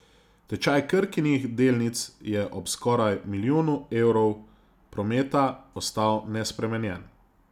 Tečaj Krkinih delnic je ob skoraj milijonu evrov prometa ostal nespremenjen.